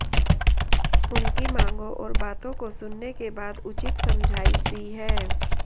उनकी मांगों और बातों को सुनने के बाद उचित समझाइश दी है